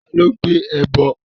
Ta ló gbé ẹbọ?